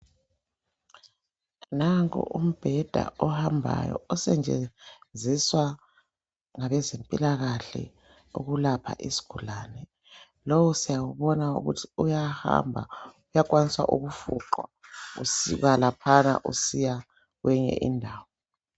Nanku umbheda ohambayo osetshenziswa ngabezempilakahle ukulapha izigulane lowo siyawubona ukuthi uyahamba uyakwaniswa ukufuqwa usuka laphana usiya kweyinye indawo.